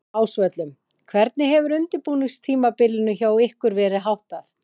Á Ásvöllum Hvernig hefur undirbúningstímabilinu hjá ykkur verið háttað?